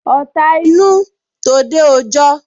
Ọ̀ta inú, tòde òjọ